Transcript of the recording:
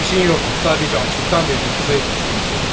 Önemli bir şeyin yoxmuş, sadəcə açlıqdan və üzüntüdən zəif düşdüyünü söylədi.